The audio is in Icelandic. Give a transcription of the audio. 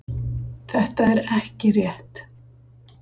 Þetta er ekki rétt